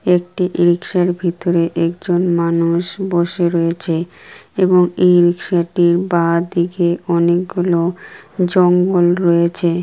একটি রিক্সা -এর ভিতরে একজন মানুষ বসে রয়েছে এবং এই রিকশা -টির বাঁদিকে অনেকগুলো জঙ্গল রয়েছে ।